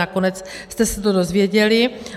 Nakonec jste se to dozvěděli.